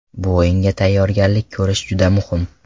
Bu o‘yinga tayyorgarlik ko‘rish juda muhim.